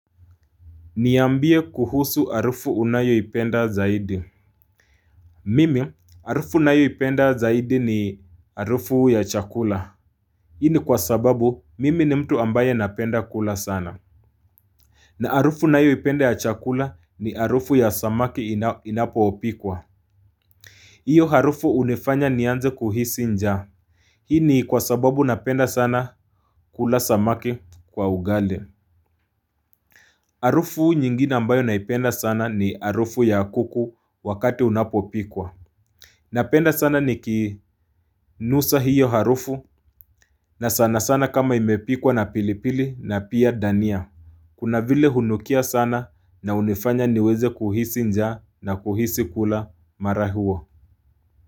Niambie kuhusu harufu unayoipenda zaidi Mimi harufu nayoipenda zaidi ni harufu ya chakula Hii ni kwa sababu mimi ni mtu ambaye napenda kula sana na harufu nayoipenda ya chakula ni harufu ya samaki inapopikwa hiyo harufu unifanya nianze kuhisi njaa Hii ni kwa sababu napenda sana kula samaki kwa ugali Harufu nyingine ambayo naipenda sana ni harufu ya kuku wakati unapopikwa Napenda sana nikinusa hiyo harufu na sana sana kama imepikwa na pilipili na pia dania Kuna vile hunukia sana na unifanya niweze kuhisi njaa na kuhisi kula mara huo.